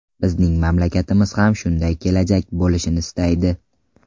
Bizning mamlakatimiz ham shunday kelajak bo‘lishini istaydi.